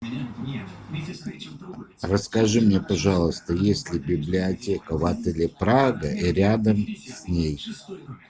расскажи мне пожалуйста есть ли библиотека в отеле прага и рядом с ней